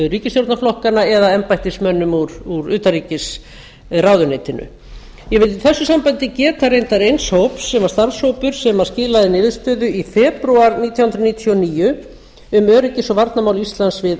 ríkisstjórnarflokkanna eða embættismönnum úr utanríkisráðuneytinu ég vil í þessu sambandi geta reyndar eins hóps sem var starfshópur sem skilaði niðurstöðu í febrúar nítján hundruð níutíu og níu um öryggis og varnarmál íslands við